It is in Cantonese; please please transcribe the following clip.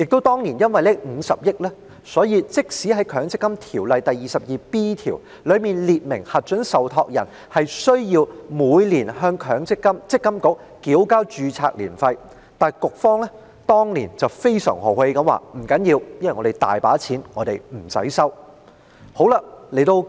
當年因為有這50億元，故此即使《強制性公積金條例》第 22B 條列明核准受託人須每年向積金局繳交註冊年費，積金局也非常豪氣地表示因為資金充裕，所以豁免收取註冊年費。